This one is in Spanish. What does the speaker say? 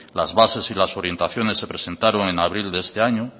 las bases y las orientaciones se presentaron en abril de este año